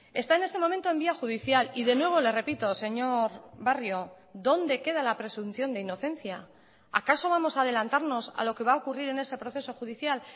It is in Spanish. está en este momento en vía judicial y de nuevo le repito señor barrio dónde queda la presunción de inocencia acaso vamos a adelantarnos a lo que va a ocurrir en ese proceso judicial